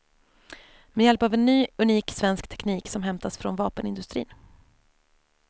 Med hjälp av en ny unik svensk teknik som hämtats från vapenindustrin.